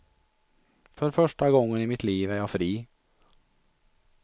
För första gången i mitt liv är jag fri.